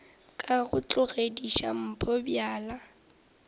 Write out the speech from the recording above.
ka go tlogediša mpho bjala